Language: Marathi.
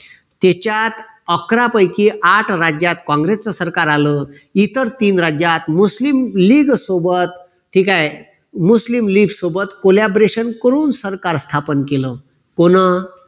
त्याच्यात अकरा पैकी आठ राज्यात काँग्रेसच सरकार आलं. इतर तीन राज्यात मुस्लिम लीग सोबत ठीक आहे मुस्लिम लीग सोबत collaboration करून सरकार स्थापन केलं. कोना